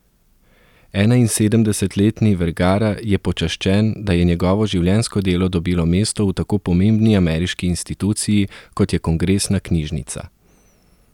Enainsedemdesetletni Vergara je počaščen, da je njegovo življenjsko delo dobilo mesto v tako pomembni ameriški instituciji, kot je Kongresna knjižnica.